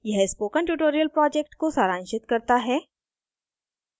यह spoken tutorial project को सारांशित करता है